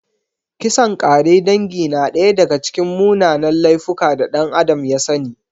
Kisan ƙare dangi na daya daga cikin munanan laifuka da ɗan Adam ya sani.